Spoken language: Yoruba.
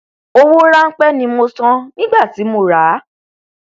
owó ránpẹ ni mo san nígbà tí mo ràá